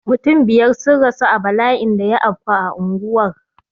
Mutum biyar sun rasu a bala'in da ya afku a unguwar